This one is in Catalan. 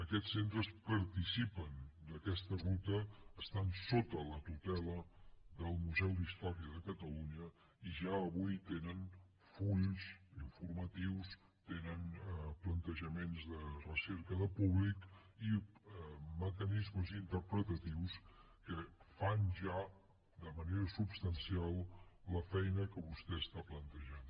aquests centres participen d’aquesta ruta estan sota la tutela del museu d’història de catalunya i ja avui tenen fulls informatius tenen plantejaments de recerca de públic i mecanismes interpretatius que fan ja de manera substancial la feina que vostè està plantejant